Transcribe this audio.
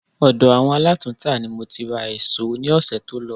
Ọ̀dọ̀ àwọn alátùntà ni mo ti ra èsó ní ọ̀sẹ̀ tó lọ